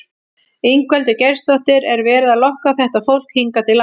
Ingveldur Geirsdóttir: Er verið að lokka þetta fólk hingað til lands?